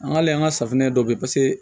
An k'ale ka safunɛ dɔ bɛ yen paseke